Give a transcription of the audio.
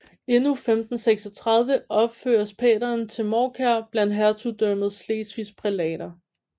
Endnu 1536 opføres pateren til Mårkær blandt Hertugdømmet Slesvigs prælater